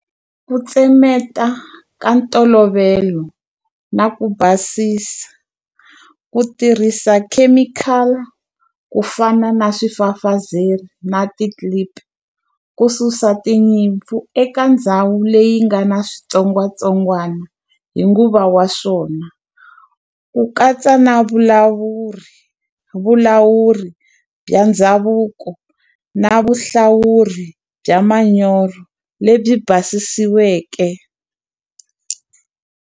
Ku tsemeta ka ntolovelo na ku basisa, ku tirhisa chemical ku fana na swifafazelo na ti-clip. Ku susa tinyimpfu eka ndhawu leyi nga na switsongwatsongwana hi nguva wa swona. Ku katsa na vulawuri, vulawuri bya ndhavuko na vuhlawuri bya manyoro lebyi basisiweke.